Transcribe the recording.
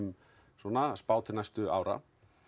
svona spá til næstu ára